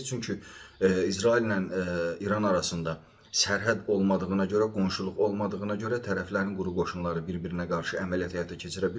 Çünki İsraillə İran arasında sərhəd olmadığına görə, qonşuluq olmadığına görə tərəflərin quru qoşunları bir-birinə qarşı əməliyyat həyata keçirə bilməyəcəklər.